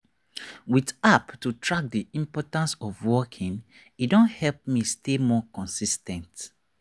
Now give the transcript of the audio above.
with app to track the importance of walking e don help me stay more consis ten t.